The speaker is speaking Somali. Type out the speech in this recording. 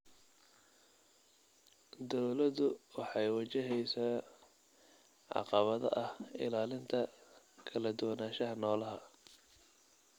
Dawladdu waxay wajaheysaa caqabada ah ilaalinta kala duwanaanshaha noolaha.